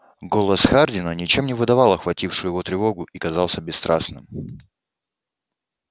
голос хардина ничем не выдавал охватившую его тревогу и казался бесстрастным